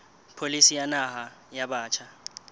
pholisi ya naha ya batjha